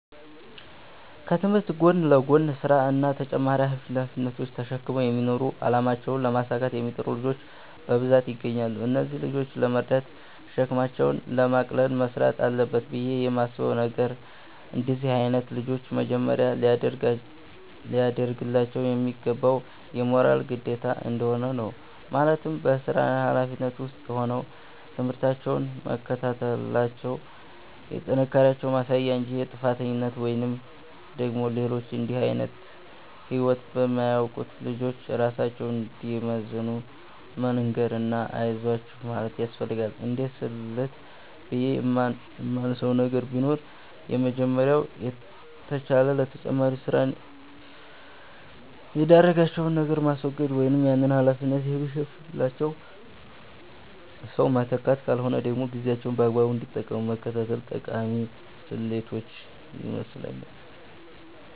ከትምህርት ጎን ለጎን ስራ እና ተጨማሪ ሃላፊነቶች ተሽክመው የሚማሩ አላማቸውን ለማሳካት የሚጥሩ ልጆች በብዛት ይገኛሉ። እነዚህን ልጆች ለመርዳት እና ሸክማቸውን ለማቅለል መስራት አለበት ብየ የማስበው ነገር፤ እንደነዚህ አይነት ልጆች መጀመሪያ ሊደርግላቸው የሚገባው የሞራል ግንባታ እንደሆነ ነው፤ ማለትም በስራና ሀላፊነት ውስጥ ሆነው ትምህርታቸውን መከታተላቸው የጥንካሬያቸው ማሳያ እንጂ የጥፋተኝነት ወይም ደግሞ ሌሎች እንድህ አይነት ህይወት በማያውቁት ልጆች ራሳቸውን እንዳይመዝኑ መንገር እና አይዟችሁ ማለት ያስፈልጋል። እንደስልት ብየ የማነሳው ነገር ቢኖር የመጀመሪያው ከተቻለ ለተጨማሪ ስራ የዳረጋቸውን ነገር ማስወገድ ወይም ያንን ሀላፊነት የሚሸፍንላቸው ሰው መተካት ካልሆነ ደግሞ ጊዜያቸውን በአግባቡ እንዲጠቀሙ መከታተል ጠቃሚ ስልቶች ይመስለኛል።